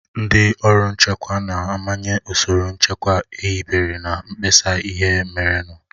Ndị ọrụ nchekwa na-amanye ụsoro nchekwa ehibere na mkpesa ihe merenụ.